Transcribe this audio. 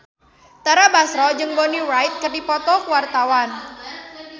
Tara Basro jeung Bonnie Wright keur dipoto ku wartawan